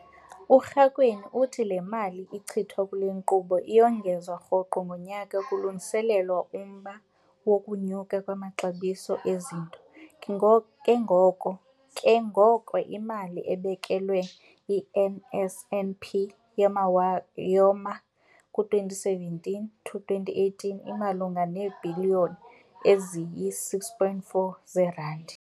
URakwena uthi le mali ichithwa kule nkqubo iyongezwa rhoqo ngonyaka kulungiselelwa umba wokunyuka kwamaxabiso ezinto, ke ngoko imali ebekelwe i-NSNP yamawa yoma ku-2017 to 18 imalunga neebhiliyoni eziyi-6.4 zeerandi.